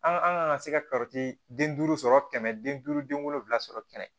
An an ka se ka den duuru sɔrɔ kɛmɛ den duuru den wolonwula sɔrɔ kɛmɛ